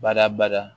Bada bada